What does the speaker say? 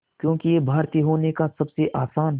क्योंकि ये भारतीय होने का सबसे आसान